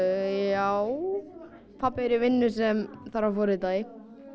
já pabbi er í vinnu sem þarf að forrita í